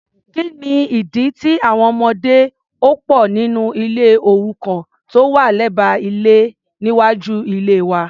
kíni ìdí tí àwọn ọmọdé ò pò nínú ilé òrukàn tó wà lẹ́gbẹ́ ilé níwájú ilée wa?